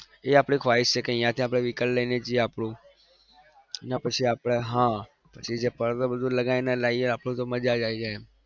એ આપણી ख्वाहिश છે કે અહિયાંથી આપણે vehicle લઈને જઈએ આપણું અને પછી આપણે હા પછી જે પડદો બડડો લગાવીને આપણને તો મજા જ આવી જાય એમ.